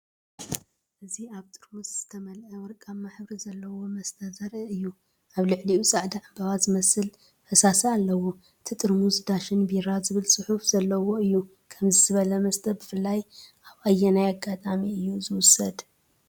እዚ ኣብ ጥርሙዝ ዝተመልአ ወርቃዊ ሕብሪ ዘለዎ መስተ ዘርኢ እዩ። ኣብ ልዕሊኡ ጻዕዳ ዕምባባ ዝመስል ፈሳሲ ኣለዎ። እቲ ጥርሙዝ "ዳሽን ቢራ"ዝብል ጽሑፍ ዘለዎ እዩ። ከምዚ ዝበለ መስተ ብፍላይ ኣብ ኣየናይ ኣጋጣሚ እዩ ዝውሰድ?